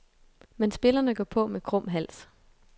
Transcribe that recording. Men spillerne går på med krum hals.